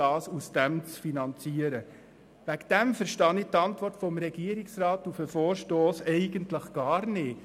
Deshalb verstehe ich die Antwort des Regierungsrats auf den Vorstoss eigentlich gar nicht.